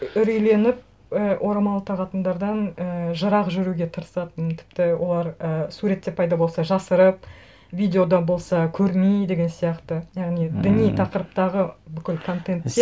үрейленіп і орамал тағатындардан і жырақ жүруге тырысатынмын тіпті олар і суретте пайда болса жасырып видеода болса көрмей деген сияқты яғни діни тақырыптағы бүкіл контентте